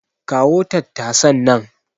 Kawo tattasan nan.